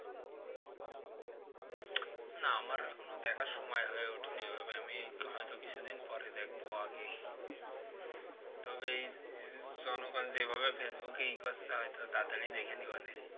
এখনও দেখার সময়ই হয়ে উঠেনি ওইভাবে আমি হইত কিছুদিন পরে দেখবো আগে তবে এই জনগন যেভাবে facebook এ ইয়ে করসে হইত তাড়াতাড়ই দেখে নেওয়া যাই